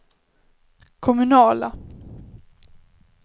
kommunala